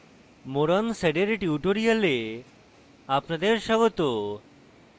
more on sed এর tutorial আপনাদের স্বাগত